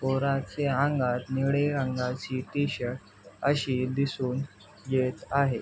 पोराचे अंगात निळे रंगाची टी-शर्ट अशी दिसून येत आहे.